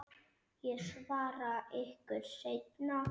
Ég svara ykkur seinna.